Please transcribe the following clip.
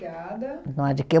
Não há de quê